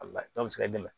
A la dɔ bɛ se ka dɛmɛ